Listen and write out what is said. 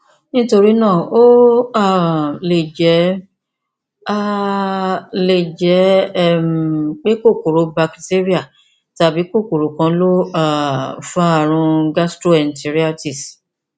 nítorí náà ó um lè jẹ um lè jẹ um pé kòkòrò bakitéríà tàbí kòkòrò kan ló um fa ààrùn gastroenteritis